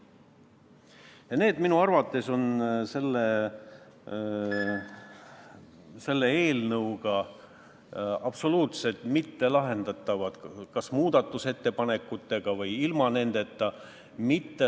Need probleemid on minu arvates selle eelnõuga absoluutselt mittelahendatavad, kas muudatusettepanekutega või ilma nendeta.